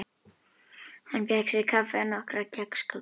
Hann fékk sér kaffi og nokkrar kexkökur.